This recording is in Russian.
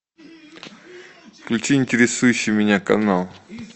включи интересующий меня канал